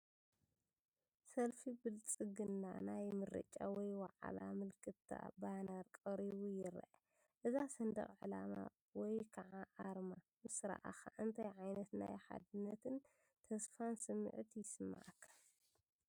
ሰልፊ ብልጽግና ናይ ምርጫ ወይ ዋዕላ ምልክታ ባነር ቀሪቡ ይረአ። እዛ ሰንደቕ ዕላማ ወይ ከዓ ኣርማ ምስ ረኣኻ እንታይ ዓይነት ናይ ሓድነትን ተስፋን ስምዒት ይስምዓካ?